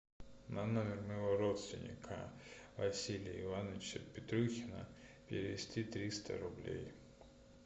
на номер моего родственника василия ивановича петрухина перевести триста рублей